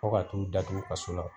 Fo ka t'u datuku kaso la.